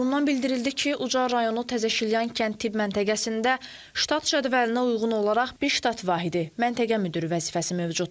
Qurumdan bildirildi ki, Ucar rayonu Təzəşilyan kənd tibb məntəqəsində ştat cədvəlinə uyğun olaraq bir ştat vahidi məntəqə müdiri vəzifəsi mövcuddur.